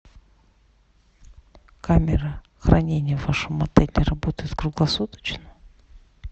камера хранения в вашем отеле работает круглосуточно